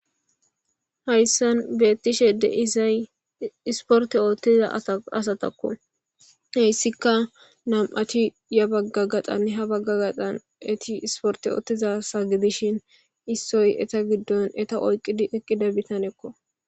hayssan beettishe de'isay isporte oottiza asatakko heyssika nam7ati ya bagga gaxanne ha bagga gaxan eti isporte oottiza sagidishin issoy eta giddon eta oyqidi eqqida bitanekko